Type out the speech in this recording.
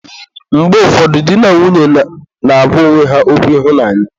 Mgbe ụfọdụ di na nwunye na-agwa onwe ha okwu ịhụnanya.